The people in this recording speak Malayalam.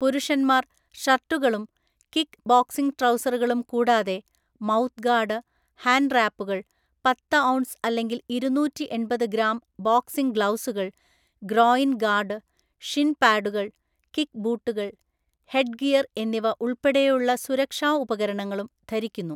പുരുഷന്മാർ ഷർട്ടുകളും കിക്ക് ബോക്സിങ് ട്രൗസറുകളും കൂടാതെ മൗത്ത് ഗാർഡ്, ഹാൻഡ് റാപ്പുകൾ, പത്ത് ഔൺസ് അല്ലെങ്കിൽ ഇരുനൂറ്റിഎണ്‍പത് ഗ്രാം ബോക്സിങ് ഗ്ലൗസുകൾ, ഗ്രോയിൻ ഗാർഡ്, ഷിൻ പാഡുകൾ, കിക്ക് ബൂട്ടുകൾ, ഹെഡ്ഗിയർ എന്നിവ ഉൾപ്പെടെയുള്ള സുരക്ഷാ ഉപകരണങ്ങളും ധരിക്കുന്നു.